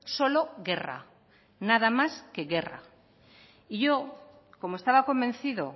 solo guerra nada más que guerra y yo como estaba convencido